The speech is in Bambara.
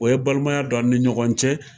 O ye balimanya don an ni ɲɔgɔn cɛ.